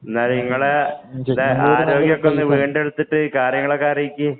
എന്നാല് നിങ്ങള്‍ടെ ആരോഗ്യം ഒക്കെ വീണ്ടെടുത്ത് കാര്യങ്ങളൊക്കെ അറിയിക്ക്.